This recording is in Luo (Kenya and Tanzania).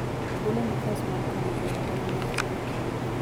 ogolo nafas mar kano e ohala mar pur